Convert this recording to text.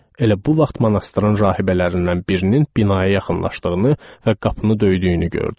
Elə bu vaxt monastırın rahibələrindən birinin binaya yaxınlaşdığını və qapını döydüyünü gördük.